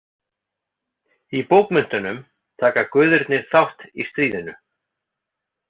Í bókmenntunum taka guðirnir þátt í stríðinu.